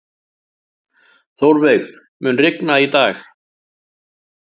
Þórveig, mun rigna í dag?